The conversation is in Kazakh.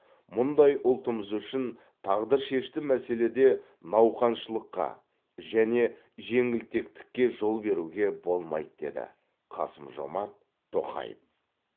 мұндай ұлтымыз үшін тағдыршешті мәселеде науқаншылдыққа және жеңілтектікке жол беруге болмайды деді қасым жомарт тоқаев